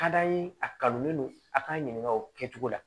Ka d'an ye a kanulen don a k'an ɲininka o kɛcogo la